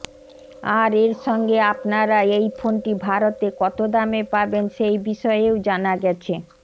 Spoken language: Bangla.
আর এর সঙ্গে আপনারা এই ফোনটি ভারতে কত দামে পাবেন সেই বিষয়েও জানা গেছে